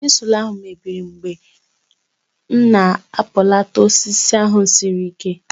Chizụl ahụ mebiri mgbe m na-akpụlata osisi ahụ siri ike